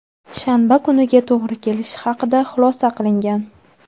shanba kuniga to‘g‘ri kelishi haqida xulosa qilingan.